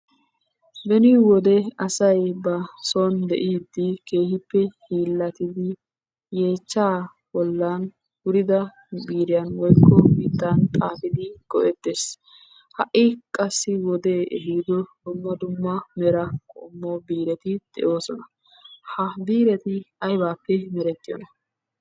Beni wode asay ba soon de"iiddi keehippe hiillattidi yeechchaa bollan wurida biiriyan woykko miittan xaafidi go"ettes. Ha"i qassi wodee ehiido dumma dumma mera qommo biireti de'oosona. Ha biireti aybaappe merettiyoona?